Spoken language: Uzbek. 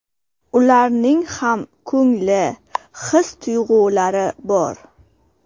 Ularning ham ko‘ngli, his-tuyg‘ulari bor.